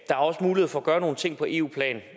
er også mulighed for at gøre nogle ting på eu plan